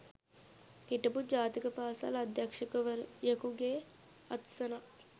හිටපු ජාතික පාසල් අධ්‍යක්ෂවරයකුගේ අත්සනක්